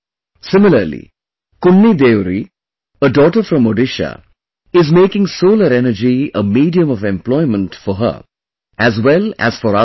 Similarly, KunniDeori, a daughter from Odisha, is making solar energy a medium of employment for her as well as for other women